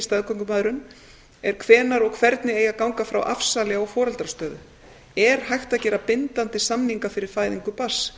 staðgöngumæðrun er hvenær og hvernig eigi að ganga frá afsali á foreldrastöðu er hægt að gera bindandi samninga fyrir fæðingu barns